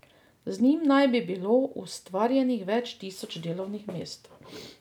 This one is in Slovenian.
Z njim naj bi bilo ustvarjenih več tisoč delovnih mest.